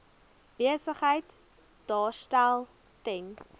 besigheid daarstel ten